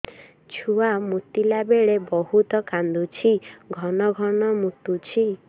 ଛୁଆ ମୁତିଲା ବେଳେ ବହୁତ କାନ୍ଦୁଛି ଘନ ଘନ ମୁତୁଛି